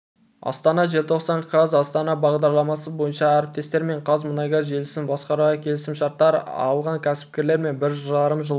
астана желтоқсан қаз астанада бағдарламасы бойынша әріптестермен қазмұнайгаз желісін басқаруға келісімшарттар алған кәсіпкерлермен бір жарым жылғы